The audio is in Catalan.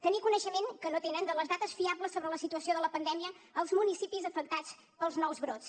tenir coneixement que no tenen de les dades fiables sobre la situació de la pandèmia als municipis afectats pels nous brots